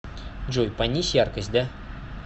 джой понизь яркость да